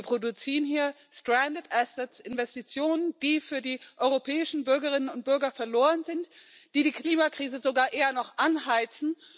Wir produzieren hier Investitionen, die für die europäischen Bürgerinnen und Bürger verloren sind, die die Klimakrise sogar eher noch anheizen.